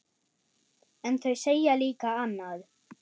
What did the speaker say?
En þau segja líka annað.